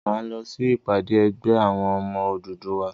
Máa lọ sí ìpàdé ẹgbẹ́ àwọn ọmọ Odùduwà.